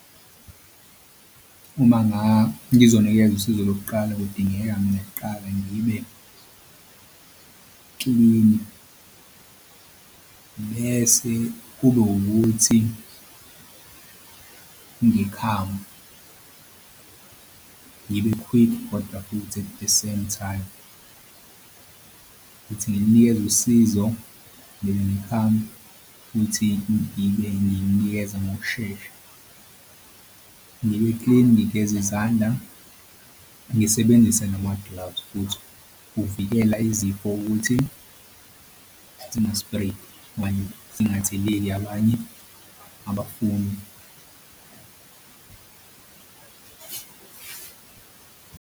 Uma ngizonikeza usizo lokuqala kudingeka mina kuqala ngibe klini mese kube wukuthi ngikhamu ngibe-quick kodwa futhi at the same time. Kuthi ngilinikeza usizo futhi ngibe ngilinikeze ngokushesha. Ngibe-clean ngigeze izandla, ngisebenzise nama-gloves futhi ukuvikela izifo ukuthi zingaspredi okanye zingatheleli abanye abafundi.